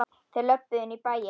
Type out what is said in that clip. Þeir löbbuðu inn í bæinn.